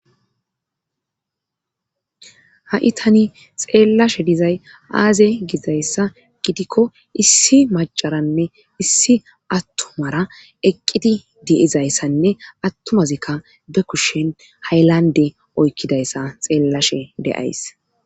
ha7i tani xeellashe dizay aaze gizayssa gidikko issi macaranne issi attumara eqqidi diyizayssanne attumazikka be kushshen haylande oykkidayssa xeellashe de7ays